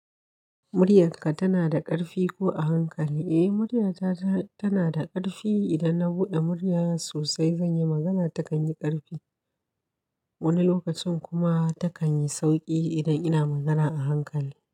Muryarka tana da ƙarfi ko a hankali? Eh muryata tana da ƙarfi idan na buɗe murya sosai zan yi magana takan yi ƙarfi. Wani lokacin kuma ta kan yi sauƙi idan ina magana a hankali.